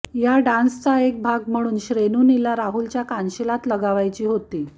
या डान्सचा एक भाग म्हणून श्रेनुनीला राहुलच्या कानशिलात लगावायची होती